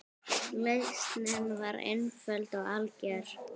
Lausnin var einföld og algjör.